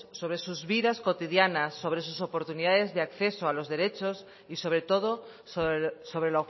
sobre sus vidas cotidianas sobre sus oportunidades de acceso a los derechos y sobre todo sobre